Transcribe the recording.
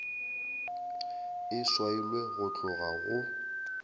e swailwe go tloga go